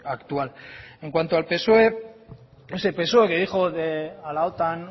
actual en cuanto al psoe ese psoe que dijo a la otan